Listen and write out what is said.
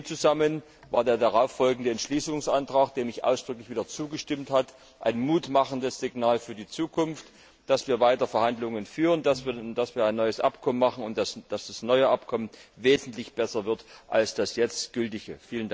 In dem Zusammenhang war der darauffolgende Entschließungsantrag, dem ich ausdrücklich wieder zugestimmt habe, ein Mut machendes Signal für die Zukunft, dass wir weiter Verhandlungen führen, dass wir ein neues Abkommen machen und dass das neue Abkommen wesentlich besser wird als das jetzt gültige.